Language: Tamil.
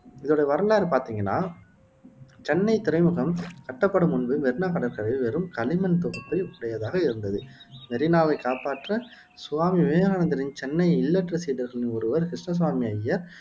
இதோடைய வரலாறு பாத்திங்கன்ன சென்னைத் துறைமுகம் கட்டப்படும் முன்பு மெரீனா கடற்கரை வெறும் களிமண் தொகுப்பை உடையதாக இருந்தது மெரீனாவைக் காப்பாற்ற சுவாமி விவேகானந்தரின் சென்னை இல்லறச் சீடர்களில் ஒருவர் கிருஷ்ண சுவாமி அய்யர்